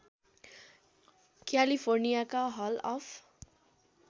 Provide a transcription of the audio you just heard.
क्यालिफोर्नियाका hall of